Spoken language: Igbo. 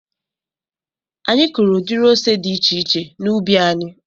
Anyị kụụrụ udiri ose dị iche iche n'ubi anyị.